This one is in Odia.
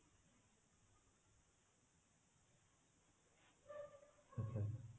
ଆଚ୍ଛା